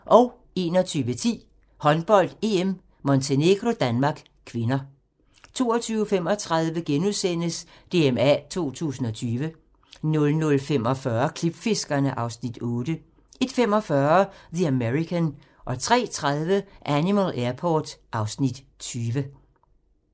21:10: Håndbold: EM - Montenegro-Danmark (k) 22:35: DMA 2020 * 00:45: Klipfiskerne (Afs. 8) 01:45: The American 03:30: Animal Airport (Afs. 20)